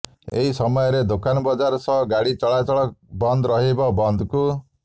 ଏହି ସମୟରେ ଦୋକାନ ବଜାର ସହ ଗାଡି ଚଳାଚଳ ବନ୍ଦ ରହିବ ବନ୍ଦକୁ